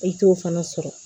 E t'o fana sɔrɔ